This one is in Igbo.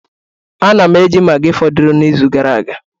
Ana m eji maggi fọdụrụ n'izu gara aga